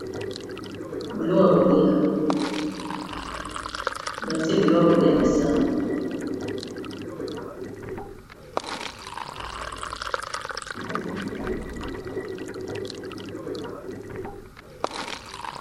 Biloko ya kolia batie biloko ya kolia na sani.